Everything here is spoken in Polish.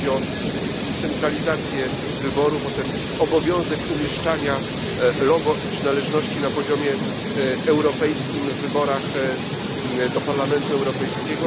Chodzi tu przede wszystkim o centralizację wyborów, o obowiązek umieszczania logo przynależności na poziomie europejskim w wyborach do Parlamentu Europejskiego.